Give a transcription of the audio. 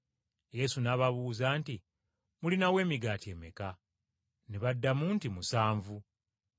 Yesu n’ababuuza nti, “Mulinawo emigaati emeka?” Ne baddamu nti, “Musanvu.”